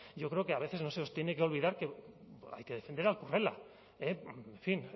yo creo que a veces no se os tiene que olvidar que hay que defender al currela en fin